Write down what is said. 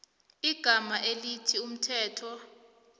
igama elithi umthetho